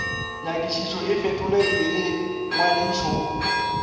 nyakišišo e fetoletšwe le ngwadišo